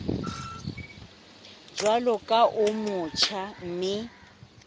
jwalo ka o motjha mme